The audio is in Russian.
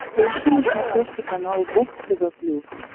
поищи на смотрешке канал бокс тв плюс